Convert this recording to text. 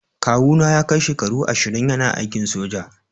Kawu na ya kai shekaru ashirin yana aikin soja.